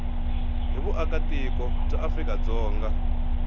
hi vuakatiko bya afrika dzonga